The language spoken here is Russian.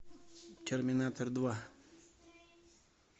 терминатор два